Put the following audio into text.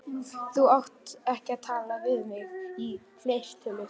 Þú átt ekki að tala við mig í fleirtölu.